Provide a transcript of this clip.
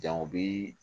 Jango bi